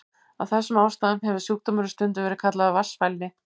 Af þessum ástæðum hefur sjúkdómurinn stundum verið kallaður vatnsfælni.